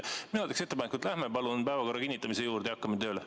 Mina teen ettepaneku, et läheme palun päevakorra kinnitamise juurde ja hakkame tööle.